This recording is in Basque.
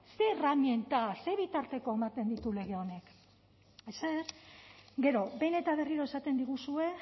zer erraminta zein bitarteko ematen ditu lege honek ezer gero behin eta berriro esaten diguzue